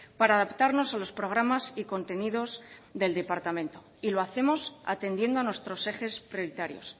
para adaptarnos a los programas y contenidos del departamento y lo hacemos atendiendo a nuestros ejes prioritarios